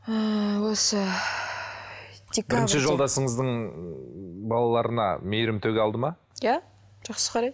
ыыы осы бірінші жолдасыңыздың балаларына мейірім төге алды ма иә жақсы қарайды